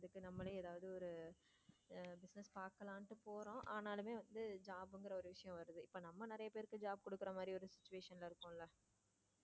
அதுக்கு நம்மள ஏதாவது ஒரு business பார்க்கலாம் என்று போறோம் ஆனால் மே வந்து job என்கிற ஒரு விஷயம் வருது இப்ப நம்ம நிறைய பேருக்கு job கொடுக்கிற மாதிரி ஒரு situation இருக்கும்ல.